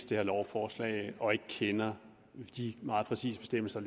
det her lovforslag og ikke kender de meget præcise bestemmelser